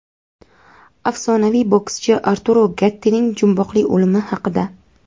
Afsonaviy bokschi Arturo Gattining jumboqli o‘limi haqida.